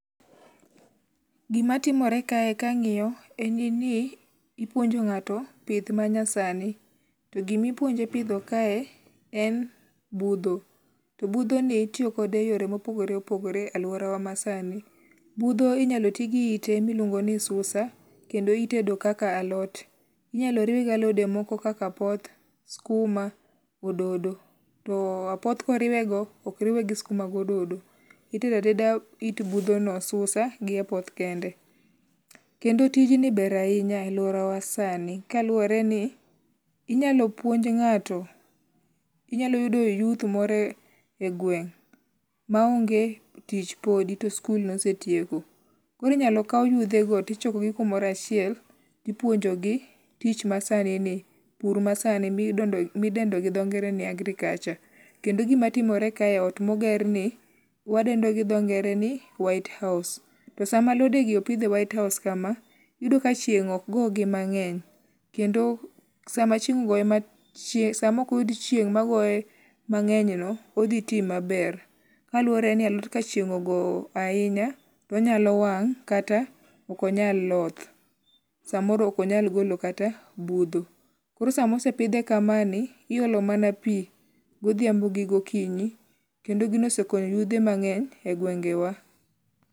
Gima timore kae kang'iyo en ni ipuonjo ng'ato pith manyasani. To gimipuonje pidho kae en budho. To budho ni itiyo kode eyore mopogore opogore aluora wa ma sani. Budho inyalo tigi ite miluongo ni susa. Kendo itedo kaka alot. Inyalo riwe gi alode moko kaka apoth, skuma, ododo. To apoth koriwe go ok riwe gi skuma gododo. Itedo ateda it budho no susa gi apoth kende. Kendo tijni ber ahinya aluora wa sani kaluwore ni inyalo puonj ng'ato inyalo yudo yuth moro e gweng' ma onge tich podi to skul nosetieko. Koro inyalo kaw yuthe go tichokogi kumoro achiel tipuonjo gi tich masani ni pur ma sani midendo go dho ngere ni agriculture. Kendo gima timore kae ot moger ni wadendo go dho ngere ni whitehouse. To sama alode gi opidhe whitehouse kama iyudo ka chieng' ok go gi mang'eny. Kendo sama chieng' ogoye sama ok oyud chieng' ma goye mang'eny no, odhi ti maber. Kaluore ni alot ka chieng' ogo ahinya to onyalo wang' kata ok onyal loth. Samoro ok onyal golo kata budho. Koro samosepidhe kamae ni, iolo mana pi godhiambo gi gokinyi kendo gino osekonyo yudhe mang'eny e gwenge wa.